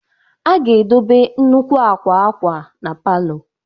a ga-edobe nnukwu akwa akwa na palọ